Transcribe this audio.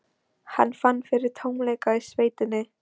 Hann fann fyrir tómleika í sveitinni.